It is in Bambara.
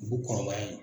U bɛ kɔrɔbaya yen